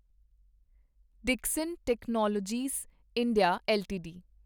Dixon technologies India LTD